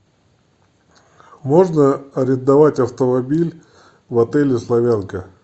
можно арендовать автомобиль в отеле славянка